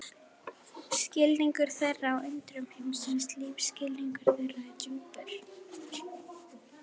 Skilningur þeirra á undrum heimsins lífsskilningur þeirra er djúpur.